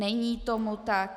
Není tomu tak.